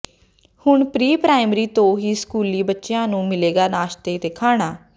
ਹੁਣ pre primary ਤੋਂ ਹੀ ਸਕੂਲੀ ਬੱਚਿਆਂ ਨੂੰ ਮਿਲੇਗਾ ਨਾਸ਼ਤਾ ਤੇ ਖਾਣਾ